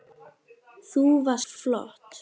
Þú varst flott